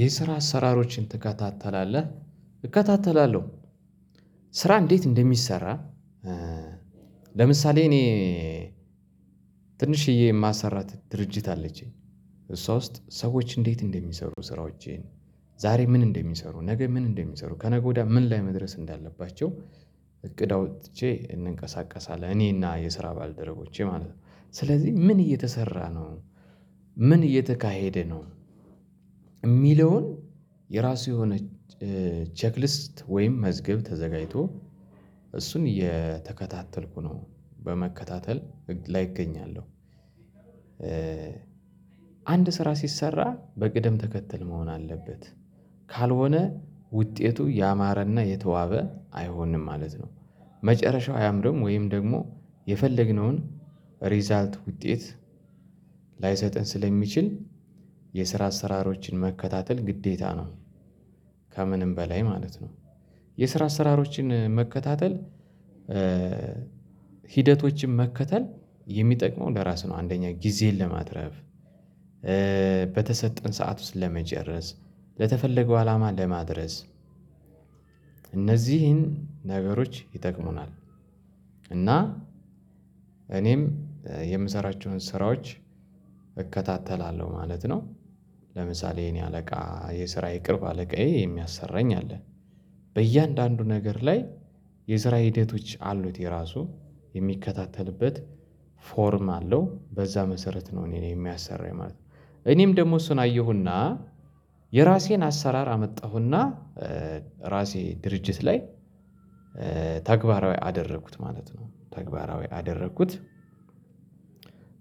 የስራ አሰራሮችን ትከታተላለህ እከታተላለሁ። ስራ እንዴት እንደሚሰራ ለምሳሌ እኔ ትንሽዬ የማሰራት ድርጅት አለችኝ። እሷ ውስጥ ሰዎች እንዴት እንደሚሰሩ ስራዎቼን ዛሬ ምን እንደሚሰሩ ነገ ምን እንደሚሰሩ ከነገ ወዲያ ምን ላይ መድረስ እንዳለባቸው። እቅድ አውጥቼ እንንቀሳቀሳለን እኔና የስራ ባልደረቦቼ ማለት ነው ስለዚህ ምን እየተሰራ ነው ምን እየተካሄደ ነው ሚለውን የራሱ የሆነ ቼክሊስት ወይም መዝገብ ተዘጋጅቶ እሱን እየተከታተልኩ ነው በመከታተል ህግ ላይ እገኛለው። ስራ ሲሰራ በቅደም ተከተል መሆን አለበት ካልሆነ ውጤቱ ያማረና የተዋበ አይሆንም ማለት ነው። መጨረሻው አያምርም ወይም ደግሞ የፈለግነውን ሪዛልት ውጤት ላይሰጠን ስለሚችል የስራ አሰራሮችን መከታተል ግዴታ ነው። ከምንም በላይ ማለት ነው። የስራ አሰራሮችን መከታተል ሂደቶችን መከተል የሚጠቅመው ለራስህ ነው አንደኛ ጊዜን ለማትረፍ በተሰጠን ሰዓት ውስጥ ለመጨረስ ለተፈለገው አላማ ለማድረስ እነዚህን ነገሮች ይጠቅሙናል እና እኔም የምሰራቸውን ስራዎች እከታተላለሁ ማለት ነው። ለምሳሌ የኔ አለቃ የስራዬ ቅርብ አለቃዬ የሚያሰራኝ አለ በእያንዳንዱ ነገር ላይ የስራ ሂደቶች አሉት የራሱ የሚከታተልበት ፎርም አለው በዛ መሰረት ነው እኔ የሚያሰራኝ ማለት ነው። እኔም ደግሞ እሱን አየሁና የራሴን አሰራር አመጣሁና ራሴ ድርጅት ላይ ተግባራዊ አደረኩት ማለት ነው። ተግባራዊ አደረኩት ካደረኩት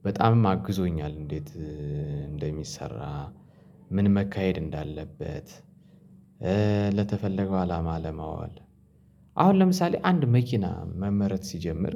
በጣምማ አግዞኛል። እንዴት እንደሚሰራ ምን መካሄድ እንዳለበት ለተፈለገው አላማ ለማዋል አሁን ለምሳሌ አንድ መኪና መመረት ሲጀምር።